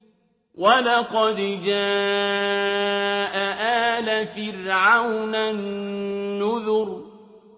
وَلَقَدْ جَاءَ آلَ فِرْعَوْنَ النُّذُرُ